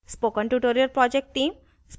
spoken tutorial project team: